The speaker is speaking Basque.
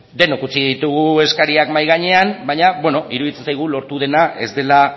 denok utzi ditugu eskariak mahai gainean baina beno iruditzen zaigu lortu dena ez dela